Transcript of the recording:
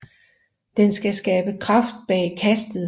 Den skal skabe kraft bag kastet